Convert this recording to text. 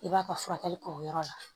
I b'a ka furakɛli kɛ o yɔrɔ la